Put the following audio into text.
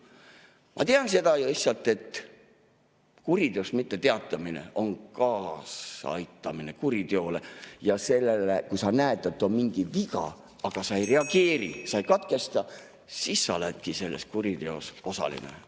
Ma tean seda lihtsalt, et kuriteost mitteteatamine on kaasaaitamine kuriteole, ja kui sa näed, et on mingi viga, aga sa ei reageeri, sai ei katkesta, siis sa oledki selles kuriteos osaline.